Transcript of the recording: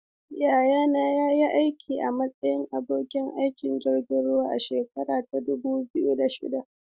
Yayana ya yi aiki a matsayin abokin aikin jirgin ruwa a shekara ta dubu biyu da shida.